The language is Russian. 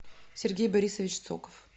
сергей борисович цоков